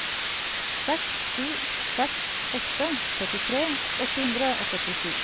seks sju seks åtte syttitre åtte hundre og førtisju